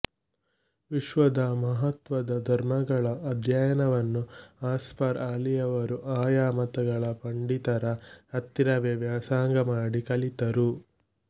ವಿಶ್ವದ ಮಹತ್ವದ ಧರ್ಮಗಳ ಅಧ್ಯಯನವನ್ನು ಆಸ್ಘರ್ ಆಲಿಯವರು ಆಯಾ ಮತಗಳ ಪಂಡಿತರ ಹತ್ತಿರವೇ ವ್ಯಾಸಂಗಮಾಡಿ ಕಲಿತರು